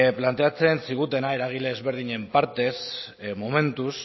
planteatzen zigutena eragile ezberdinen partez momentuz